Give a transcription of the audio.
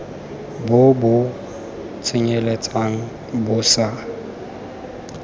bo bo tsenyeletsang bo sa